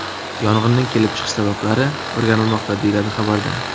Yong‘inning kelib chiqish sabablari o‘rganilmoqda, deyiladi xabarda.